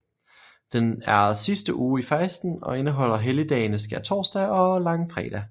Den er sidste uge i fasten og indeholder helligdagene skærtorsdag og langfredag